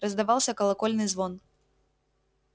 раздавался колокольный звон